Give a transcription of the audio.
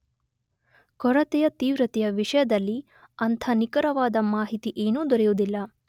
ಕೊರತೆಯ ತೀವ್ರತೆಯ ವಿಷಯದಲ್ಲಿ ಅಂಥ ನಿಖರವಾದ ಮಾಹಿತಿ ಏನೂ ದೊರೆಯುವುದಿಲ್ಲ.